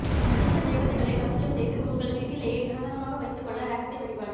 அதிர்ஷ்ட தேவதைகளை வசியம் செய்து உங்கள் வீட்டிலேயே நிரந்தரமாக வைத்துக் கொள்ள ரகசிய வழிபாடு